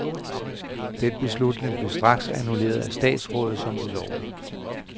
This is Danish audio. Den beslutning blev straks annulleret af statsrådet som ulovlig.